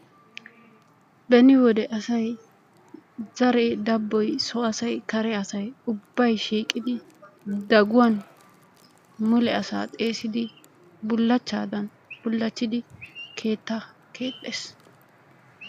Beni wode asay zaree dabboy so asay kare asay ubbay shiiqidi daguwan mule asaa xeesidi bulachaakka bulachchidi keettaa keexxees.